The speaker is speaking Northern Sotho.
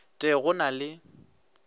t e go na le